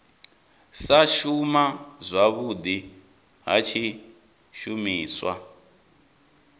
sa shuma zwavhudi ha tshishumiswa